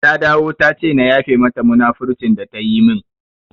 Ta dawo tace na yafe mata munafurcin da ta yi min